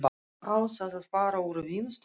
Á þá að fara úr vinnustofunni.